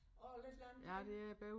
Åh lidt langt væk